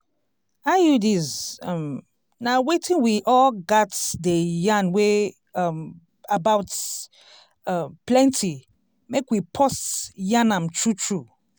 iuds um na wetin we all gats dey yarn wey um about um plenti mek we pause yan am true true